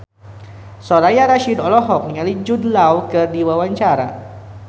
Soraya Rasyid olohok ningali Jude Law keur diwawancara